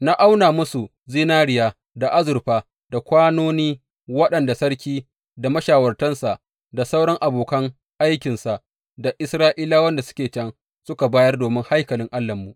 Na auna musu zinariya da azurfa, da kwanoni waɗanda sarki da mashawartansa, da sauran abokan aikinsa, da Isra’ilawan da suke can suka bayar domin haikalin Allahnmu.